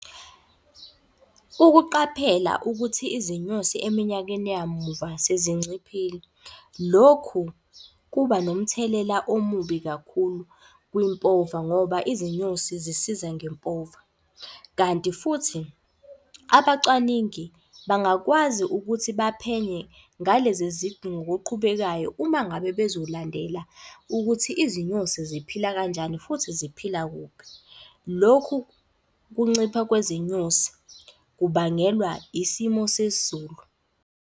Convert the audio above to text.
Ukuqaphela ukuthi izinyosi eminyakeni yamuva sezinciphile. Lokhu kuba nomthelela omubi kakhulu kwimpova ngoba izinyosi zisiza ngempova. Kanti futhi abacwaningi bangakwazi ukuthi baphenye ngalezi ngokuqhubekayo. Uma ngabe bezolandela ukuthi izinyosi ziphila kanjani futhi ziphila kuphi. Lokhu kuncipha kwezinyosi kubangelwa isimo sezulu.